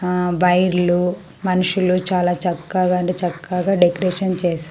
ఆ బైర్లు మనుషులు చాలా చక్కగా అంటే చక్కగా డెకరేషన్ చేస్--